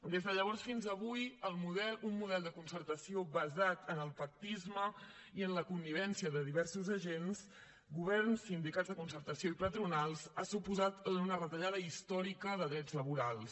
des de llavors fins avui un model de concertació basat en el pactisme i en la connivència de diversos agents govern sindicats de concertació i patronals ha suposat una retallada històrica de drets laborals